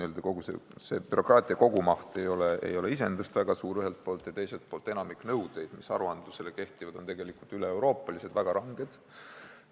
Ühelt poolt ei ole sealse bürokraatia kogumaht iseenesest väga suur ja teiselt poolt on enamik nõudeid, mis aruandlusele kehtivad, üle-euroopalised ja väga ranged.